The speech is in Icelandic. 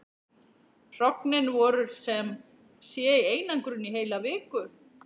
Hrognin voru sem sé í einangrun í heila viku.